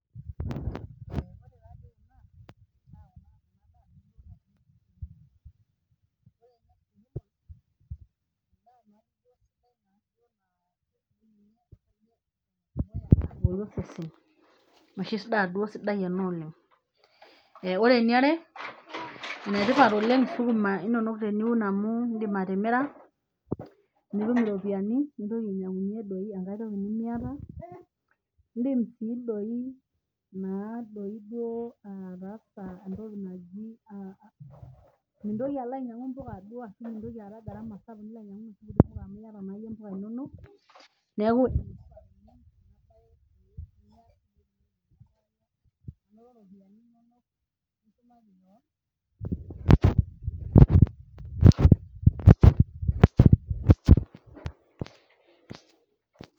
Long pause before starting.